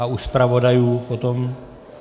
A u zpravodajů potom?